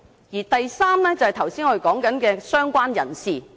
而第三類就是，我們剛才說的"相關人士"。